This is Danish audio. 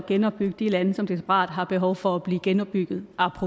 genopbygget de lande som desperat har behov for at blive genopbygget